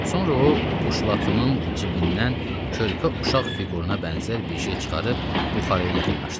Sonra o, puşlatının cibindən körpə uşaq fiquruna bənzər bir şey çıxarıb buxarıya yaxınlaşdı.